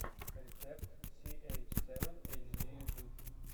рецепт си эйч севен эйч ди ютуб